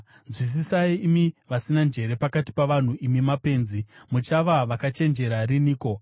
Nzwisisai, imi vasina njere pakati pavanhu; imi mapenzi, muchava vakachenjera riniko?